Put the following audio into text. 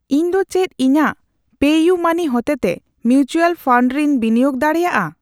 ᱤᱧ ᱫᱚ ᱪᱮᱫ ᱤᱧᱟᱜ ᱯᱮᱤᱭᱩᱢᱟᱹᱱᱤ ᱦᱚᱛᱮᱛᱮ ᱢᱤᱣᱪᱟᱞ ᱯᱷᱟᱱᱰ ᱨᱮᱧ ᱵᱤᱱᱤᱭᱳᱜ ᱫᱟᱲᱤᱭᱟᱜᱼᱟ ?